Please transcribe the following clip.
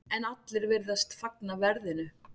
En allir virðast fagna verðinu.